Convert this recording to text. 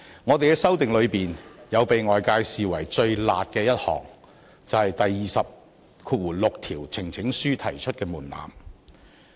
我們的修訂中，被外界視為最"辣"的一項，是有關提交呈請書門檻的第206條。